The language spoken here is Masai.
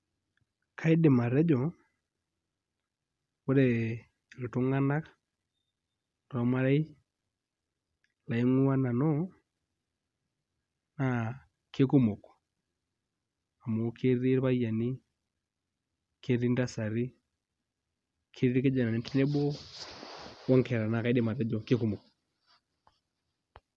Kaidim atejo ore iltung'anak lormarei laing'uaa nanu naa kekumok amu ketii irpayiani, ketii ntasati ketii irkijanani tenebo onkera naa kaidim atejo kekumok.